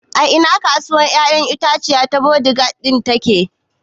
A ina kasuwar ƴaƴan itatuwa ta Bodija ɗin take